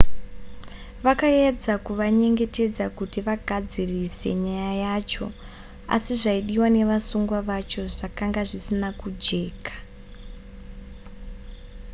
vakaedza kuvanyengetedza kuti vagadzirise nyaya yacho asi zvaidiwa nevasungwa vacho zvakanga zvisina kujeka